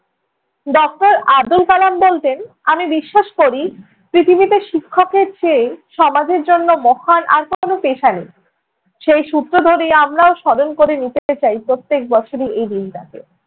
doctor Abdul Kalam বলতেন, আমি বিশ্বাস করি পৃথিবীতে শিক্ষকের চেয়ে সমাজের জন্য মহান আর কোনো পেশা নেই। সেই সূত্র ধরে আমরাও স্মরণ করে নিতে চাই প্রত্যেক বছরই এই দিনটাকে।